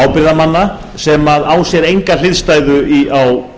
ábyrgðarmanna sem á sér enga hliðstæðu á